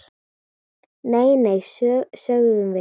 Nei, nei, sögðum við.